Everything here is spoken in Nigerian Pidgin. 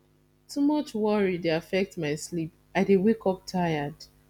too much worry dey affect my sleep i dey wake up tired